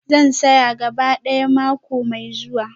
Zan saya gaba ɗaya mako mai zuwa.